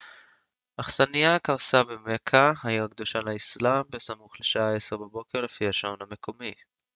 אכסנייה קרסה במכה העיר הקדושה לאיסלאם בסמוך לשעה 10 בבוקר לפי השעון המקומי